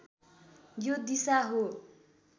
यो दिशा हो